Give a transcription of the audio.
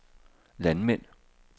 landmænd